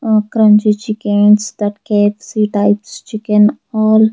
ah crunchy chickens that KFC types chicken all.